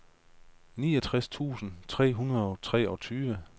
niogtres tusind tre hundrede og treogtyve